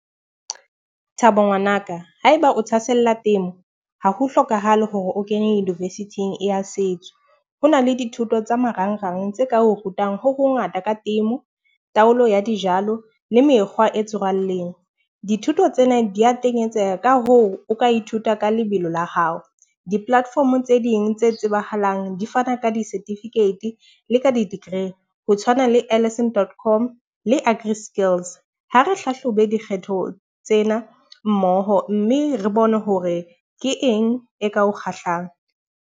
Thabo ngwanaka haeba o thahasella temo, ha ho hlokahale hore o kene university-ng ya setso. Ho na le dithuto tsa marangrang tse ka o rutang ho ho ngata ka temo, taolo ya dijalo le mekgwa e tswalleng. Dithuto tsena di a tenyetseha ka hoo, o ka ithuta ka lebelo la hao. Di-platform tse ding tse tsebahalang di fana ka di-certificate le ka di-degree, ho tshwana le Allisson dotcom le Agri Skills. Ha re hlahlobe dikgetho tsena mmoho mme re bone hore ke eng e ka o kgahlano.